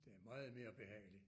Det er meget mere behagelig